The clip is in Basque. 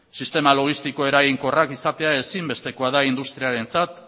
sistema logistikoak eraginkorrak izatea ezinbestekoa da industriarentzat